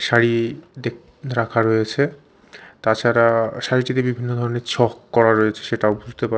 শাড়ি দেখ রাখা রয়েছে তাছাড়া শাড়িটিতে বিভিন্ন রকমের ছক করা রয়েছে সেটাও বুঝতে পার--